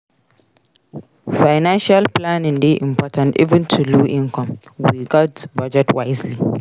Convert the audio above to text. Financial planning dey important even on low income; we gats budget wisely.